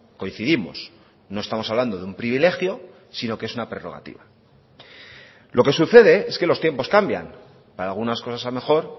coincidimos no estamos hablando de un privilegio sino que es una prerrogativa lo que sucede es que los tiempos cambian para algunas cosas a mejor